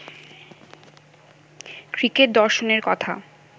cricket দর্শনের কথা